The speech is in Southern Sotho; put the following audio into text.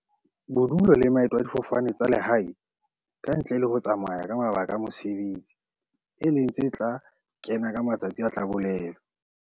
Bodulo le maeto a difofane tsa lehae, ka ntle le ho tsamaya ka mabaka a mo-sebetsi, e leng tse tla kena ka matsatsi a tla bolelwa.